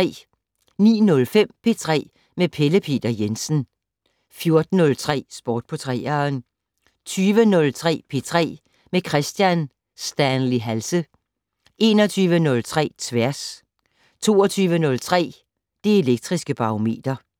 09:05: P3 med Pelle Peter Jensen 14:03: Sport på 3'eren 20:03: P3 med Kristian Stanley Halse 21:03: Tværs 22:03: Det Elektriske Barometer